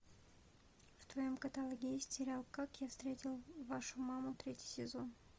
в твоем каталоге есть сериал как я встретил вашу маму третий сезон